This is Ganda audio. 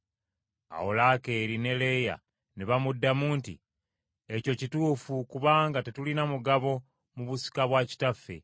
Awo Laakeeri ne Leeya ne bamuddamu nti, “Ekyo kituufu kubanga tetulina mugabo, mu busika bwa kitaffe.